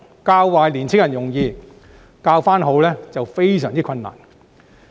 教壞年青人容易，將他們重新教好則非常困難。